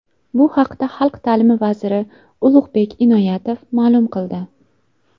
Bu haqda Xalq ta’limi vaziri Ulug‘bek Inoyatov ma’lum qildi.